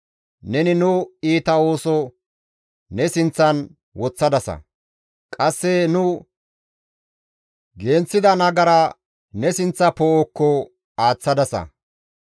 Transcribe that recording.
Neni nu iita ooso ne sinththan woththadasa; qasse nu genththida nagara ne sinththa poo7okko aaththadasa.